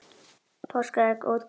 Páskaegg ódýrust í Bónus